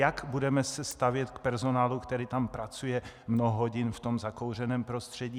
Jak se budeme stavět k personálu, který tam pracuje mnoho hodin v tom zakouřeném prostředí?